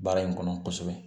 Baara in kɔnɔ kosɛbɛ